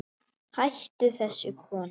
Hættu þessu kona!